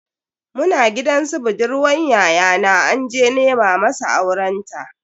Muna gidan su budurwan yayana anje nema masa aurenta.